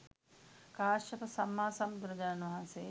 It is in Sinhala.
කාශ්‍යප සම්මා සම්බුදුරජාණන් වහන්සේ